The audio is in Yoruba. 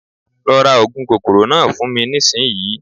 Lọ ra oògùn kòkòrò náà fún mi nísìnyi